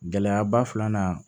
Gɛlɛyaba filanan